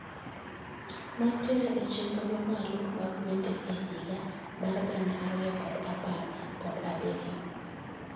Mantiere e chenro mamalo mag wende e higa mar gana ariyo kod apar kod abiriyo